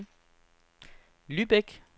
Lübeck